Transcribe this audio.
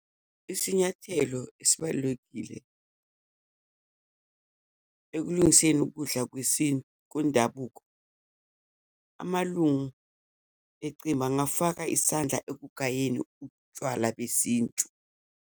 Isinyathelo esibalulekile ekulungiseni ukudla kwendabuko, amalungu ecembu angafaka isandla ekugayeni utshwala besintu.